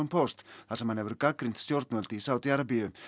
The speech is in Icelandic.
Post þar sem hann hefur gagnrýnt stjórnvöld í Sádi Arabíu